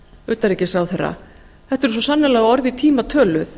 utanríkisráðherra þetta eru svo sannarlega orð í tíma töluð